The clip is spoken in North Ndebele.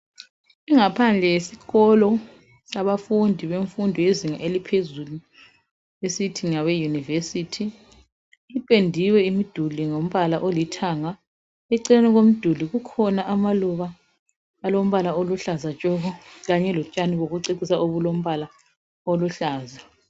Ingaphandle yesikolo sabafundi bemfundo yezinga eliphezulu esithi ngabeyunivesithi ipendiwe imiduli ngombala olithanga. Eceleni komduli kukhona amaluba alombala oluhlaza Kanye lotshani bokucecisa obulombala oluhlaza.